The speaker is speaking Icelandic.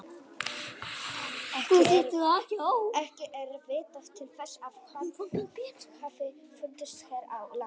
Ekki er vitað til þess að hann hafi fundist hér á landi.